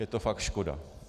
Je to fakt škoda.